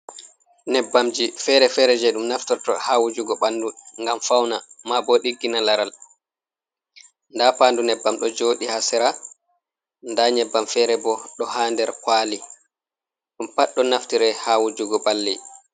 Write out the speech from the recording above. Nyebbamji fere-fere je ɗum naftorto ha wujugo ɓanɗu ngam fauna, ma bo digginay laral, nda pandu nyebbam ɗo jodiy ha sera, nda nyebbam fere bo ɗo ha nder kwali. Ɗum pat ɗon naftire ha wujugo ɓalli.